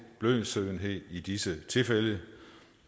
blødsødenhed i disse tilfælde